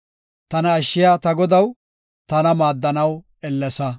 Tana ashshiya ta Godaw, tana maaddanaw ellesa.